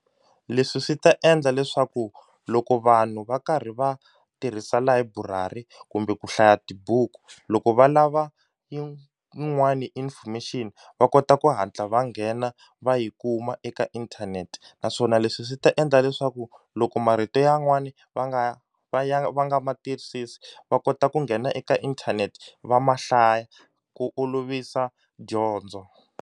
Leswi swi ta endla leswaku loko vanhu va karhi va tirhisa layiburari kumbe ku hlaya tibuku loko va lava yin'wani information va kota ku hatla va nghena va yi kuma eka inthanete naswona leswi swi ta endla leswaku loko marito yan'wani va nga va ya va nga matwisisi va kota ku nghena eka inthanete va ma hlaya ku olovisa dyondzo.